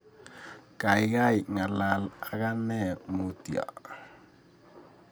Gaigai ngalal ak ane mutyo